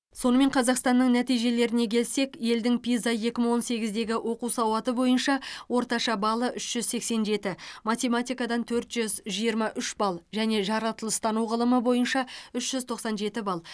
сонымен қазақстанның нәтижелеріне келсек елдің пиза екі мың он сегіздегі оқу сауаты бойынша орташа балы үш жүз сексен жеті математикадан төрт жүз жиырма үш балл және жаратылыстану ғылымы бойынша үш жүз тоқсан жеті балл